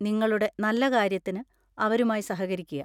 നിങ്ങളുടെ നല്ലകാര്യത്തിന് അവരുമായി സഹകരിക്കുക.